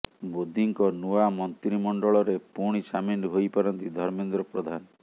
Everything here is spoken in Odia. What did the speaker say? ମୋଦିଙ୍କ ନୂଆ ମନ୍ତ୍ରିମଣ୍ଡଳରେ ପୁଣି ସାମିଲ ହୋଇପାରନ୍ତି ଧର୍ମେନ୍ଦ୍ର ପ୍ରଧାନ